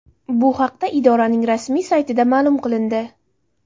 Bu haqda idoraning rasmiy saytida ma’lum qilindi .